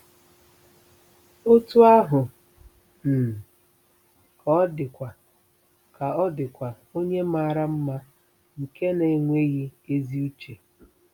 Otú ahụ um ka ọ dịkwa ka ọ dịkwa onye mara mma nke na-enweghị “ezi uche.”